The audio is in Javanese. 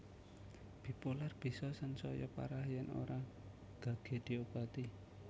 Bipolar bisa sansaya parah yen ora gage diobati